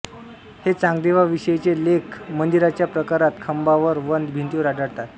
हे चांगदेवाविषयीचे लेख मंदिराच्या प्राकारात खांबांवर व भिंतींवर आढळतात